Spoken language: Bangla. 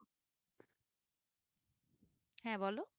হ্যাঁ বলো